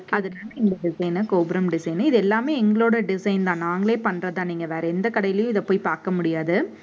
இந்த design கோபுரம் design இது எல்லாமே எங்களோட design தான். நாங்களே பண்றதுதான். நீங்க வேற எந்த கடையிலயும் இதை போய் பார்க்க முடியாது